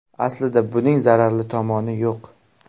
Aslida, buning zararli tomoni yo‘q.